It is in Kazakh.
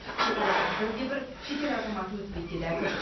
шекарадан бір де бір шетел азаматы өтпейді деді әкім